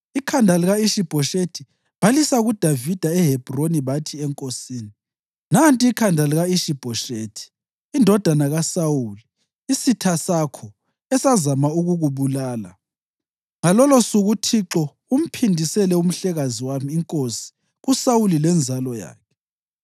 Ikhanda lika-Ishi-Bhoshethi balisa kuDavida eHebhroni bathi enkosini, “Nanti ikhanda lika-Ishi-Bhoshethi indodana kaSawuli, isitha sakho, esazama ukukubulala. Ngalolusuku uThixo umphindiselele umhlekazi wami inkosi kuSawuli lenzalo yakhe.”